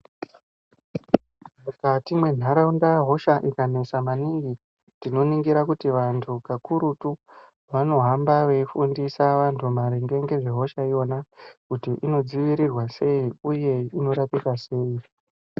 Mukati menharaunda hosha ikanesa maningi tinoningira kuti vantu kakurutu vanohamba veifundisa vantu kuti inodzivirirwa sei uye inorapika sei.